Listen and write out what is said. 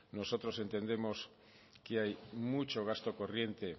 nosotros entendemos que hay mucho gasto corriente